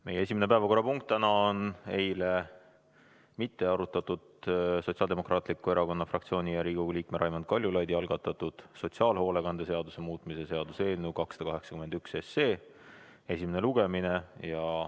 Meie esimene päevakorrapunkt täna on eilne arutamata jäänud Sotsiaaldemokraatliku Erakonna fraktsiooni ja Riigikogu liikme Raimond Kaljulaidi algatatud sotsiaalhoolekande seaduse muutmise seaduse eelnõu 281 esimene lugemine.